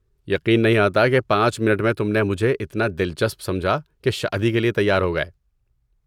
یقین نہیں آتا کہ پانچ منٹ میں تم نے مجھے اتنا دلچسپ سمجھا کہ شادی کے لیے تیار ہو گئے